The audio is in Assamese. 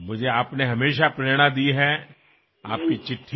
পুনৰবাৰ আপোনাক জন্মদিনৰ অলেখ শুভেচ্ছা জনাইছো